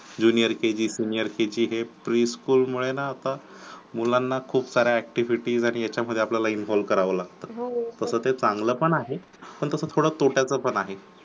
junior kg senior kg हे pre school मुळे ना आता मुलांना खूप साऱ्या activities आणि याच्यामध्ये आपल्याला involve कारव लागतं, तसं ते चांगलं पण आहे पण थोडं तोट्याचा पण आहे